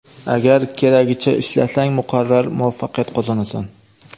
Agar keragicha ishlasang, muqarrar muvaffaqiyat qozonasan.